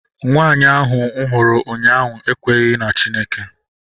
Nwanyị ahu mụ hụrụ ụnyaahụ ekwenyeghi na Chineke